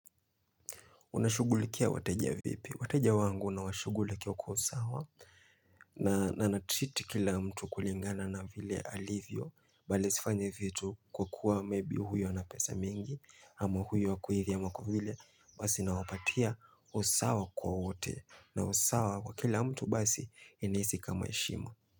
Unashughulikia wateja vipi? Wateja wangu na washughulikia kwa usawa. Na natriti kila mtu kulingana na vile alivyo. Balj sifanyi hivyo tu kwa kuwa maybe huyo na pesa mingi. Ama huyo wa kuhithi ama kwa yule. Basi nawapatia usawa kwa wote. Na usawa kwa kila mtu basi inahisi kama heshima.